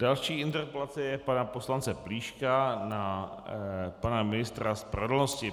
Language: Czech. Další interpelace je pana poslance Plíška na pana ministra spravedlnosti.